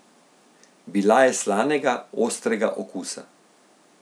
Bila je slanega, ostrega okusa.